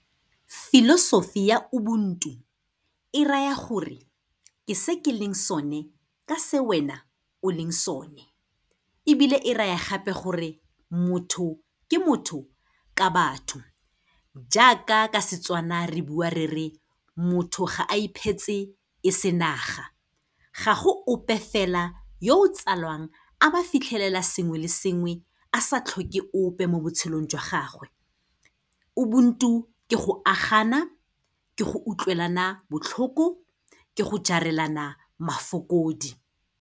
Philosophy ya ubuntu, e raya gore ke se ke leng sone ka se wena o leng sone, ebile e ra ya gape gore motho ke motho ka batho. Jaaka ka Setswana re bua re re, motho ga a iphetse e se naga. Ga go ope fela yo o tsalwang, a ba fitlhelela sengwe le sengwe, a sa tlhoke ope mo botshelong jwa gagwe. Ubuntu ke go agana, ke go utlwelana botlhoko, ke go jarelana mafokodi.